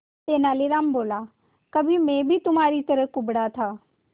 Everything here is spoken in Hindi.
तेनालीराम बोला कभी मैं भी तुम्हारी तरह कुबड़ा था